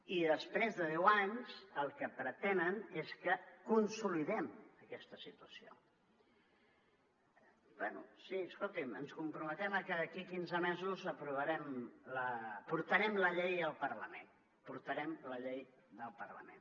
i després de deu anys el que pretenen és que consolidem aquesta situació bé sí escoltin ens comprometem a que d’aquí quinze mesos portarem la llei al parlament portarem la llei al parlament